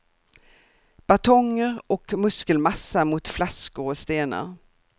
Batonger och muskelmassa mot flaskor och stenar.